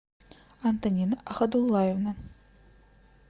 антонина ахадуллаевна